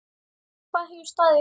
Hvað hefur staðið upp úr?